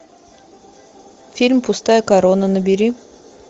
фильм пустая корона набери